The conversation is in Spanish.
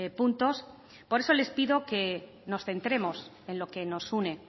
puntos por eso les pido que nos centremos en lo que nos une